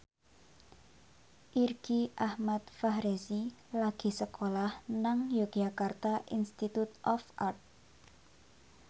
Irgi Ahmad Fahrezi lagi sekolah nang Yogyakarta Institute of Art